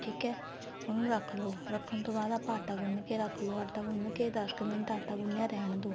ਠੀਕ ਏ ਉਨੂੰ ਰੱਖ ਲੋ ਰੱਖਣ ਤੋਂ ਬਾਅਦ ਆਪਾਂ ਆਟਾ ਗੁੰਨ ਕੇ ਰੱਖ ਲੋ ਆਟਾ ਗੁੰਨ ਕੇ ਦੱਸ ਕ ਮਿੰਟ ਆਟਾ ਗੁੰਨੀਆ ਰਹਿਣ ਦੋ